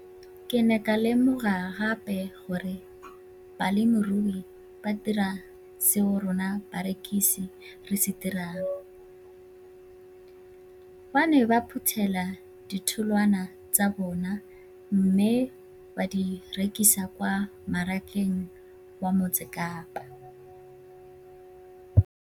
Ke ne ka lemoga gape gore balemirui ba dira seo rona barekisi re se dirang - ba ne ba phuthela ditholwana tsa bona mme ba di rekisa kwa marakeng wa Motsekapa.